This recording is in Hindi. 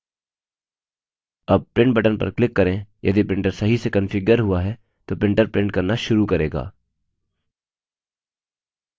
अब print button पर click करें यदि printer सही से कन्फिग्यर हुआ है तो printer print करना शुरू करेगा